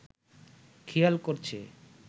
খেয়াল করছে